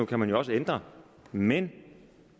kan man jo også ændre men